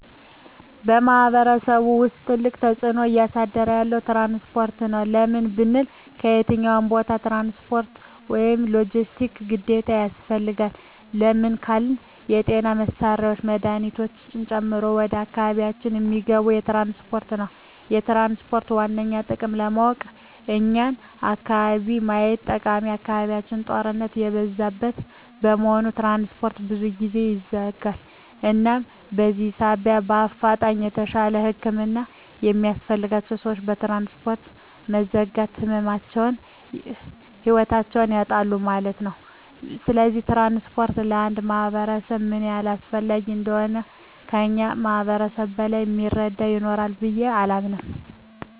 በማሕበረሰቡ ውስጥ ትልቅ ተፅዕኖ እያሳደረ ያለዉ ትራንስፖርት ነዉ። ለምን ብንል በየትኛዉም ቦታ ትራንስፖርት(ሎጀስቲክስ) ግዴታ ያስፈልጋል። ለምን ካልን የጤና መሳሪያወች መድሀኒቶችን ጨምሮ ወደ አካባቢያችን እሚገቡት በትራንስፖርት ነዉ። የትራንስፖርትን ዋነኛ ጥቅም ለማወቅ የኛን አካባቢ ማየት ጠቃሚ አካባቢያችን ጦርነት የበዛበት በመሆኑ ትራንስፖርት ብዙ ጊዜ ይዘጋል እናም በዚህ ሳቢያ በአፋጣኝ የተሻለ ህክምና የሚያስፈልጋቸዉ ሰወች በትራንስፖርት መዘጋት ህይወታቸዉን ያጣሉ ማለት ነዉ። ስለዚህ ትራንስፖርት ለአንድ ማህበረሰብ ምን ያህል አስፈላጊ እንደሆነ ከእኛ ማህበረሰብ በላይ እሚረዳ ይኖራል ብየ አላምንም።